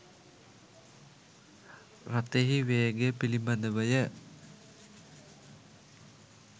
රථයෙහි වේගය පිළිබඳවය